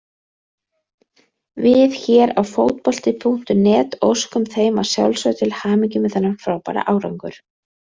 Við hér á Fótbolti.net óskum þeim að sjálfsögðu til hamingju með þennan frábæra árangur.